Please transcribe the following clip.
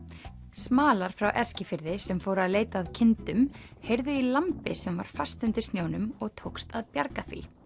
smalar frá Eskifirði sem fóru að leita að kindum heyrðu í lambi sem var fast undir snjónum og tókst að bjarga því